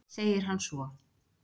segir hann svo.